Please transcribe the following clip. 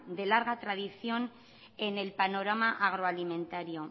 de larga tradición en el panorama agroalimentario